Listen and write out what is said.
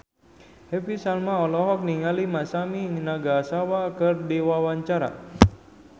Happy Salma olohok ningali Masami Nagasawa keur diwawancara